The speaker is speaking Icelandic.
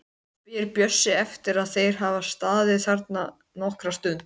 spyr Bjössi eftir að þeir hafa staðið þarna nokkra stund.